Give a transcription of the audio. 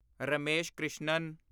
Ramesh Krishnan